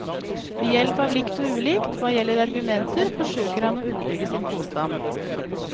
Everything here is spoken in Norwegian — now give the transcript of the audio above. Ved hjelp av likt og ulikt, hva gjelder argumenter, forsøker han å underbygge sin påstand.